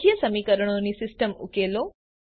રેખીય સમીકરણોની સિસ્ટમ ઉકેલો